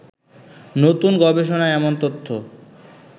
নতুন গবেষণায় এমন তথ্য